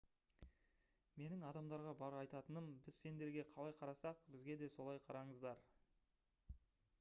менің адамдарға бар айтатыным біз сендерге қалай қарасақ бізге де солай қараңыздар